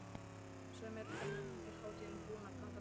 Segðu mér, hvernig er hátíðin búin að ganga fyrir sig?